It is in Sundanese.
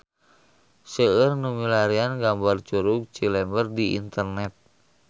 Seueur nu milarian gambar Curug Cilember di internet